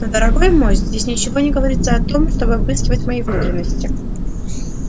но дорогой мой здесь ничего не говорится о том чтобы обыскивать мои внутренности